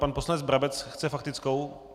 Pan poslanec Brabec chce faktickou?